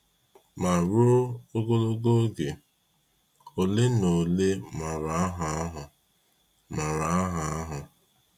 Ma ruo ogologo oge, ole na ole maara aha ahụ. maara aha ahụ.